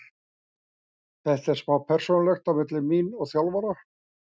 Þetta er smá persónulegt á milli mín og þjálfara.